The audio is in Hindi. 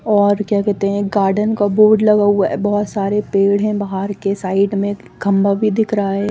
और क्या कहते है गार्डन का बोर्ड लगा हुआ है बहोत सारे पेड़ है बहर की साइड में खम्भा भी दिख रहा है।